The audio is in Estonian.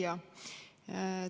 Hea küsija!